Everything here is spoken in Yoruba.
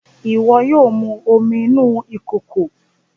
Iwọ yóò mú omí nínú ìkòkò!